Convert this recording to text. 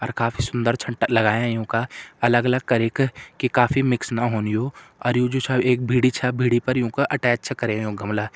अर काफी सूंदर छन लाग्यां यूँ का अलग अलग करि की की काफी मिक्स ना हुन यूँ अर यू जु छ एक भिड़ी छ भिड़ी पर यूँ का अटैच छ करयां यूँ गमला।